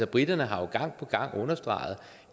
briterne har jo gang på gang understreget